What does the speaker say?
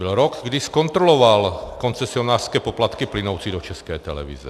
Byl rok, kdy zkontroloval koncesionářské poplatky plynoucí do České televize.